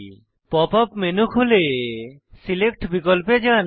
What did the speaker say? pop up menu খুলে select বিকল্পে যান